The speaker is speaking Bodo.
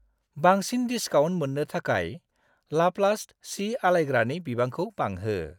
बांसिन डिसकाउन्ट मोन्नो थाखाय लाप्लास्ट सि आलायग्रानि बिबांखौ बांहो।